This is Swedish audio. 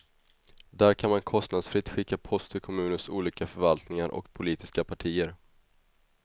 Där kan man kostnadsfritt skicka post till kommunens olika förvaltningar och politiska partier.